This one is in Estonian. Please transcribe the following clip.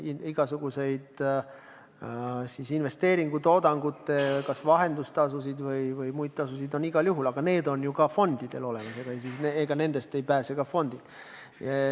Igasugused investeeringutoodangute vahendustasud või muud tasud on igal juhul, aga need on ju ka fondidel olemas, nendest ei pääse ka fondid.